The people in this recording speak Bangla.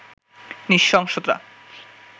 নৃশংসতা